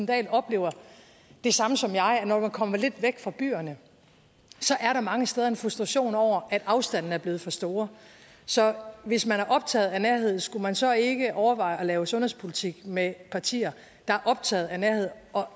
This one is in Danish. dahl oplever det samme som jeg når man kommer lidt væk fra byerne er der mange steder en frustration over at afstandene er blevet for store så hvis man er optaget af nærhed skulle man så ikke overveje at lave sundhedspolitik med partier der er optaget af nærheden og